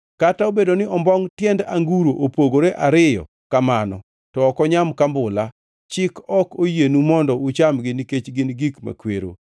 Kata obedo ni ombongʼ tiend anguro opogore ariyo kamano, to ok onyam kambula; chik ok oyienu mondo uchamgi nikech gin gik makwero.